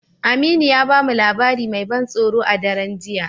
Aminu ya ba mu labari mai ban tsoro a daren jiya.